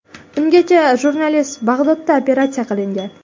Ungacha jurnalist Bag‘dodda operatsiya qilingan.